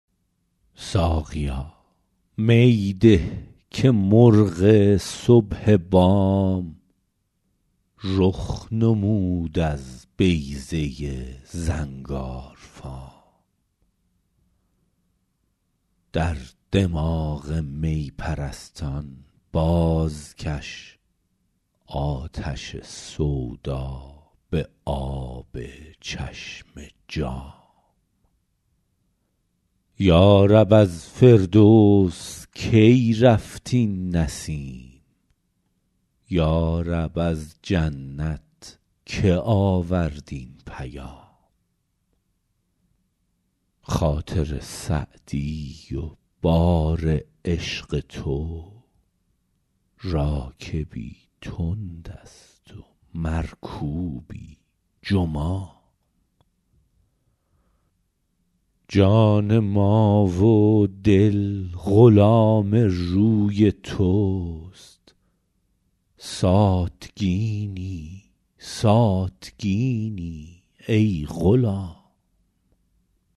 ساقیا می ده که مرغ صبح بام رخ نمود از بیضه زنگارفام در دماغ می پرستان بازکش آتش سودا به آب چشم جام یا رب از فردوس کی رفت این نسیم یا رب از جنت که آورد این پیام خاطر سعدی و بار عشق تو راکبی تند است و مرکوبی جمام جان ما و دل غلام روی توست ساتکینی ساتکینی ای غلام